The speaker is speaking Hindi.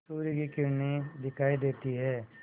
सूर्य की किरणें दिखाई देती हैं